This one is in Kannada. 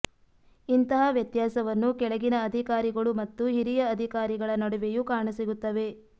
ಇಂತಹ ವ್ಯತ್ಯಾಸವನ್ನು ಕೆಳಗಿನ ಅಧಿಕಾರಿಗಳು ಮತ್ತು ಹಿರಿಯ ಅಧಿಕಾರಿಗಳ ನಡುವೆಯೂ ಕಾಣಸಿಗುತ್ತವೆ